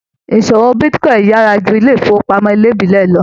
Ìṣòwò bitíkọ̀in yára jù ilé ifowopamọ ìbílẹ̀ lọ.